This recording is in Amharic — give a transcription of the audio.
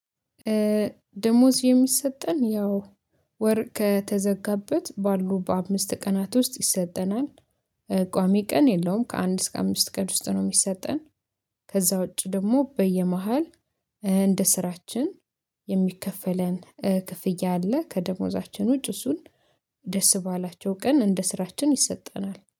ደሞዝ የሚሰጠን ያው ወር ከተዘጋበት ባሉ በአምስት ቀናት ውስጥ ይሰጠናል። ቋሚ ቀን የለውም ከአንድ እስከ አምስት ቀን ውስጥ ነው የሚሰጠን ከዛ ውጪ ደግሞ በየመሃል እንደ ስራችን የሚከፈለን ክፍያ አለ ከደሞዛችን ውጭ እሱን ደስ ባላቸው ቀን እንደ ስራችን ይሰጠናል።